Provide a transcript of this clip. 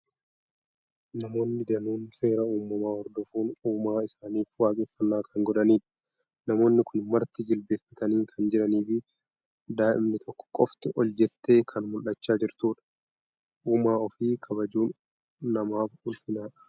Namoonni danuun seera uumamaa hordofuun uumaa isaaniif waaqeffannaa kan godhanidha. Namoonni kun marti jilbeenfatanii kan jiranii fi daa'imni tokko qofti ol jettee kan mul'achaa jirtudha. Uumaa ofii kabajuun namaaf ulfinadha!